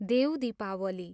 Dev Dipawali